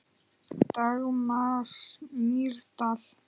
Dagmar Mýrdal.